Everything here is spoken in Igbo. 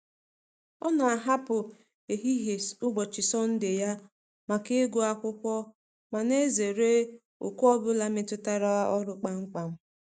Ọ na-ahapụ ehihie ụbọchị Sọnde ya maka ịgụ akwụkwọ ma na-ezere oku ọbụla metụtara ọrụ kpam kpam.